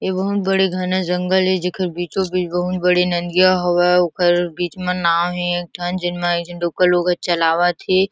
ए बहुत बड़े घना जंगल ए जेकर बीचो -बीच बहुत बड़े नदियाँ हवे ओकर बीच मा नाव हे एक ठन जेन मा लोकल लोग ए चलावत हे।